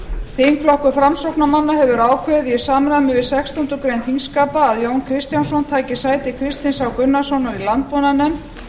þingflokkur framsóknarmanna hefur ákveðið í samræmi við sextándu grein þingskapa að jón kristjánsson taki sæti kristins h gunnarssonar í landbúnaðarnefnd